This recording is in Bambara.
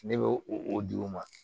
Ne bɛ o di u ma